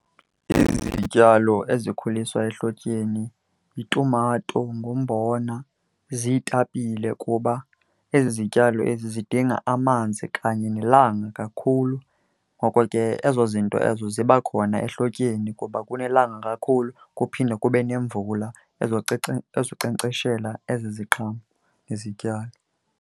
Izityalo ezikhuliswa ehlotyeni yitumato, ngumbona, ziitapile kuba ezi zityalo ezi zidinga amanzi kanye nelanga kakhulu. Ngoko ke ezo zinto ezo zibakhona ehlotyeni kuba kunelanga kakhulu kuphinde kube nemvula ezonkcenkceshela ezi ziqhamo nezityalo.